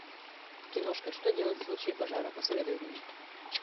киношка что делать в случае пожара посоветуй мне